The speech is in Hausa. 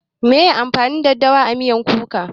Meye amfanin daɗawa a miyan kuka?